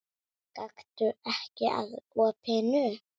Gakktu ekki að opinu.